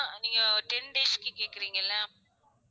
நீங்க ten days க்கு கேக்குறிங்கல்ல